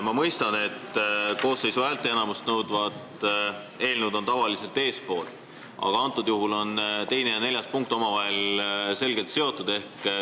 Ma mõistan, et koosseisu häälteenamust nõudvad eelnõud on tavaliselt eespool, aga antud juhul on 2. ja 4. punkt omavahel selgelt seotud.